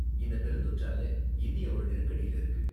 இந்த பெருந்தொற்றால இந்தியா ஒரு நெருக்கடில இருக்கு.